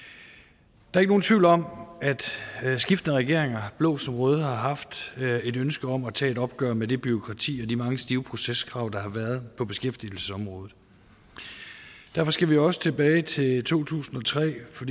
der er ikke nogen tvivl om at skiftende regeringer blå som røde har haft et ønske om at tage et opgør med det bureaukrati og de mange stive proceskrav der har været på beskæftigelsesområdet derfor skal vi også tilbage til to tusind og tre for